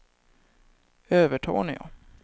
Övertorneå